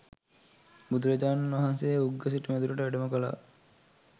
බුදුරජාණන් වහන්සේ උග්ග සිටුමැදුරට වැඩම කළා.